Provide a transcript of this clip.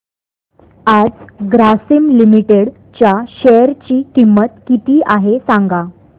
आज ग्रासीम लिमिटेड च्या शेअर ची किंमत किती आहे सांगा